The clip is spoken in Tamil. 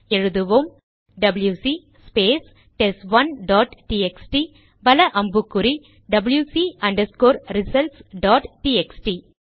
எழுதுவோம் WC space test one dot TXT வல அம்புக்குறி டபில்யுசி ரிசல்ட்ஸ் டாட் டிஎக்ஸ்டி